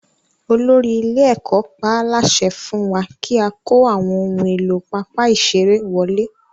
Olórí ilé-ẹ̀kọ́ pa á láṣẹ fún wa kí a kó àwọn ohun èlò pápá ìṣeré wọlé.